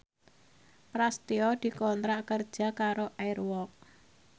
Prasetyo dikontrak kerja karo Air Walk